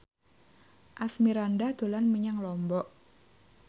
Asmirandah dolan menyang Lombok